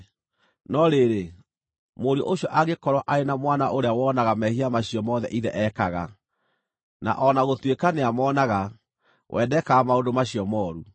“No rĩrĩ, mũriũ ũcio angĩkorwo arĩ na mwana ũrĩa wonaga mehia macio mothe ithe ekaga, na o na gũtuĩka nĩamoonaga, we ndekaga maũndũ macio mooru: